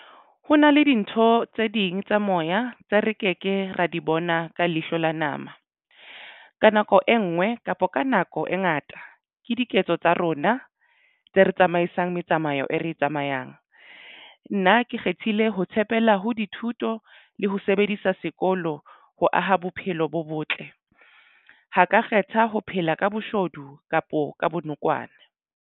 Ho na le dintho tse ding tsa moya tse re ke ke ra di bona ka leihlo la nama ka nako e nngwe kapa ka nako e ngata ke diketso tsa rona tse re tsamaisang metsamao e re tsamayang nna ke kgethile ho tshepela ho dithuto le ho sebedisa sekolo ho aha bophelo bo botle ho ka kgetha ho phela ka boshodu kapo ka bonokwane.